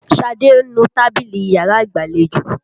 Ṣadé ń nu tábìlì yàrá ìgbàlejò.